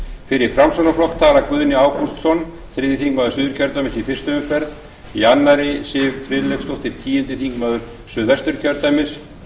fyrir framsóknarflokk tala guðni ágústsson þriðji þingmaður suðurkjördæmis í fyrstu umferð í annarri siv friðleifsdóttir tíundi þingmaður suðvesturkjördæmis